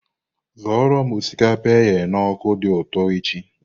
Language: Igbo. Zụoro m osikapa eghe na ọka dị ụtọ echi!